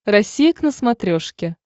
россия к на смотрешке